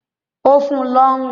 ó fun ún lọ́rùn.